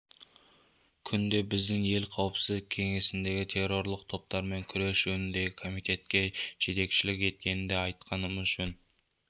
күнде біздің ел қауіпсіздік кеңесіндегі террорлық топтармен күрес жөніндегі комитетке жетекшілік еткенін де айтқанымыз жөн